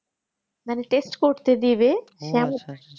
মানে test করতে দেবে